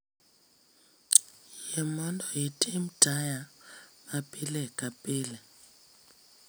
Yie mondo itim taya ma pile ka pile